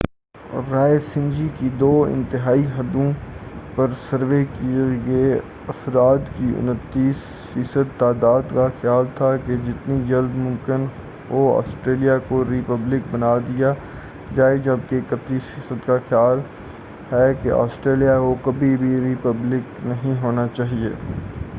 رائے سنجی کی دو انتہائی حدوں پر سروے کئے گئے افراد کی 29 فی صد تعداد کا خیال تھا کہ جتنی جلد ممکن ہو آسٹریلیا کو ری پبلک بنا دیا جائے جبکہ 31 فی صد کا خیال ہے کہ آسٹریلیا کو کبھی بھی ری پبلک نہیں ہونا چاہئے